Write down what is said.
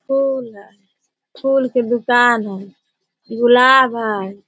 फूल हैं फूल का दुकान हैं गुलाब हैं।